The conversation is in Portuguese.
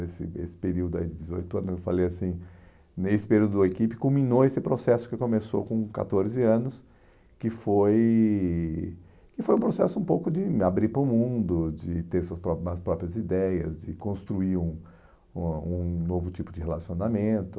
Esse esse período aí de dezoito anos, eu falei assim, nesse período do equipe culminou esse processo que começou com catorze anos, que foi que foi um processo um pouco de abrir para o mundo, de ter suas próprias as próprias ideias, de construir um um um novo tipo de relacionamento.